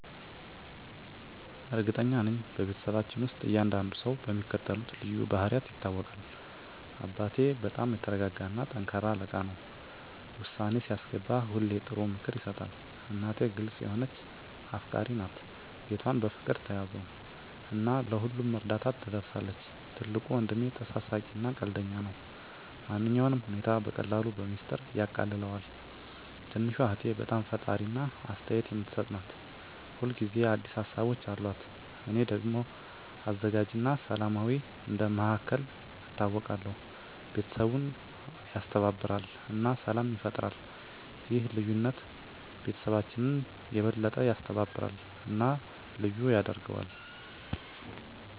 እርግጠኛ ነኝ፤ በቤተሰባችን ውስጥ እያንዳንዱ ሰው በሚከተሉት ልዩ ባህሪያት ይታወቃል - አባቴ በጣም የተረጋ እና ጠንካራ አለቃ ነው። ውሳኔ ሲያስገባ ሁሌ ጥሩ ምክር ይሰጣል። እናቴ ግልጽ የሆነች እና አፍቃሪች ናት። ቤቷን በፍቅር ትያዘው እና ለሁሉም እርዳታ ትደርሳለች። ትልቁ ወንድሜ ተሳሳቂ እና ቀልደኛ ነው። ማንኛውንም ሁኔታ በቀላሉ በሚስጥር ያቃልለዋል። ትንሹ እህቴ በጣም ፈጣሪ እና አስተያየት የምትሰጥ ናት። ሁል ጊዜ አዲስ ሀሳቦች አሉት። እኔ ደግሞ አዘጋጅ እና ሰላማዊ እንደ መሃከል ይታወቃለሁ። ቤተሰቡን ያስተባብራል እና ሰላም ይፈጥራል። ይህ ልዩነት ቤተሰባችንን የበለጠ ያስተባብራል እና ልዩ ያደርገዋል።